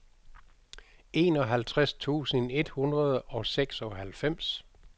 enoghalvtreds tusind et hundrede og seksoghalvfems